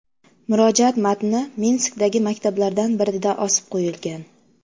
Murojaat matni Minskdagi maktablardan birida osib qo‘yilgan.